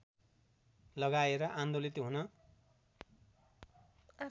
लगाएर आन्दोलित हुन